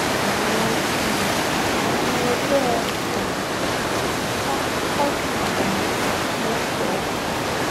àwọn um ọmọ ẹgbẹ òkùnkùn sá quadri pa lọsgbọ